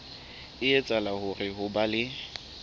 etsahala hore ho be le